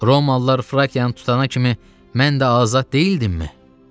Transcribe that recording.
Romalılar Frakiyanı tutana kimi mən də azad deyildimmi?